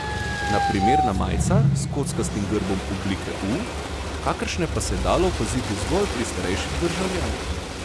Na primer na majicah s kockastim grbom oblike U, kakršne pa se je dalo opaziti zgolj pri starejših državljanih.